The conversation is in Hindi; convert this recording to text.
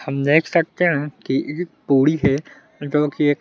हम देख सकते हैं कि एक पूड़ी है जोकि एक--